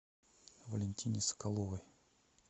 валентине соколовой